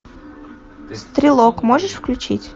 стрелок можешь включить